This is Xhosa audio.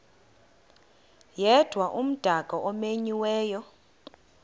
yedwa umdaka omenyiweyo